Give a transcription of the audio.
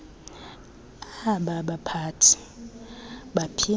aba baphathi baphinda